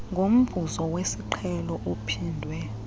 ngomvuzo wesiqhelo ophindwe